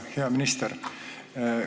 Hea minister!